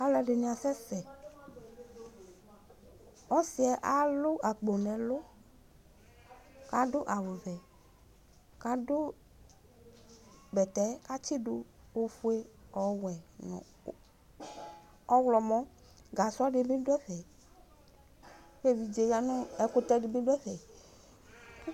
Alu ɛdini asɛsɛ Ɔsiyɛ alʋ akpo nʋ ɛlʋ Adʋ awu vɛkadʋ bɛtɛ katsidu ofue , ɔwɛ nu ɔwlɔmɔ Gasɔ dibi duɛfɛKu evidze ya nu, ɛkutɛ dibi dʋ ɛfɛ